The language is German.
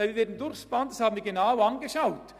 Dies haben wir genau angeschaut.